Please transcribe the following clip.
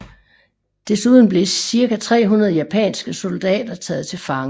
Desuden blev cirka 300 japanske soldater taget til fange